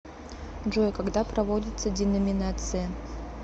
джой когда проводится деноминация